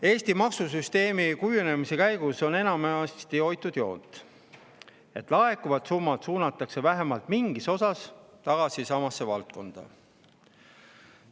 Eesti maksusüsteemi kujunemise käigus on enamasti hoitud joont, et laekuvad summad suunatakse vähemalt mingis osas tagasi samasse valdkonda.